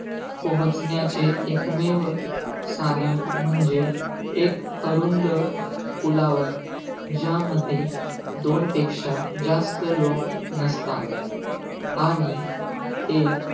पोहोचण्याचे एकमेव साधन म्हणजे, एक अरुंद पुलावर, ज्यामध्ये दोन पेक्षा जास्त लोक नसतात. आणि एक,